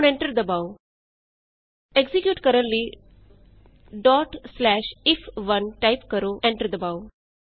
ਹੁਣ ਐਂਟਰ ਦਬਾਉ ਐਕਜ਼ੀਕਿਯੂਟ ਕਰਨ ਲਈ ਇਫ1 ਟਾਈਪ ਕਰੋ ਐਂਟਰ ਦਬਾਉ